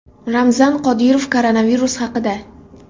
Ramzan Qodirov koronavirus haqida.